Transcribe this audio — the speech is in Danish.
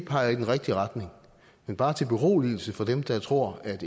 peger i den rigtige retning men bare til beroligelse for dem der tror at